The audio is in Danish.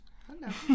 Hold da op